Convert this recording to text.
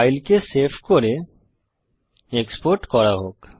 ফাইলকে save করে export করা হোক